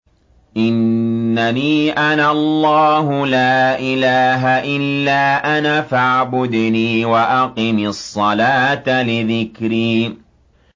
إِنَّنِي أَنَا اللَّهُ لَا إِلَٰهَ إِلَّا أَنَا فَاعْبُدْنِي وَأَقِمِ الصَّلَاةَ لِذِكْرِي